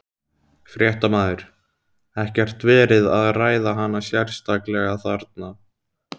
Fréttamaður: Ekkert verið að ræða hana sérstaklega þarna?